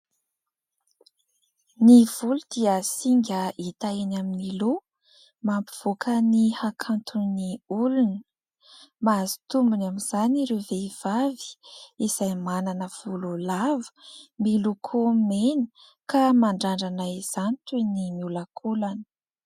Ny volo dia singa hita eny amin'ny loha mampivoaka ny hakantony olona ; mahazo tombony amin'izany ireo vehivavy izay manana volo lava miloko mena ka mandrandrana izany toy ny miolakolana.